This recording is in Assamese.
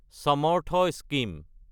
সমৰ্থা স্কিম